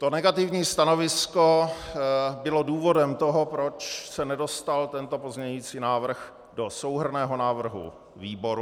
To negativní stanovisko bylo důvodem toho, proč se nedostal tento pozměňující návrh do souhrnného návrhu výboru.